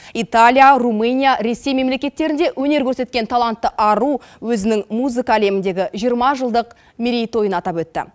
италия румыния ресей мемлекеттерінде өнер көрсеткен талантты ару өзінің музыка әлеміндегі жиырма жылдық мерейтойын атап өтті